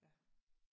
Ja